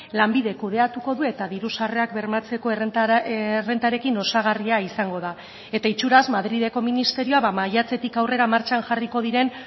lanbidek kudeatuko du eta diru sarrerak bermatzeko errentarekin osagarria izango da eta itxuraz madrileko ministerioa maiatzetik aurrera martxan jarriko diren